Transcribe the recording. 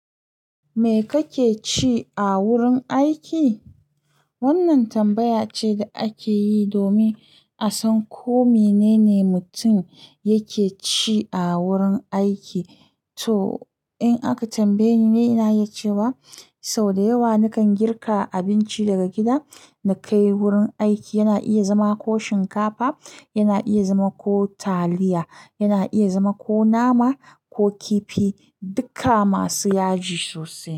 Me kake ci a wurin aiki? Wannan tambaya ce da ake yi domin a san ko menene mutum yake ci a wurin aiki. To, in aka tambaye ni, ina iya ce wa, sau da yawa nakan girka abinci daga gida na kai wurin aiki. Yana iya zama ko shinkafa, yana iya zama ko taliya, yana iya zama ko nama ko kifi, duka masu yaji sosai.